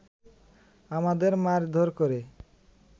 আমাদের মারধর করে